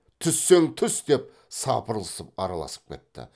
түссең түс деп сапырылысып араласып кетті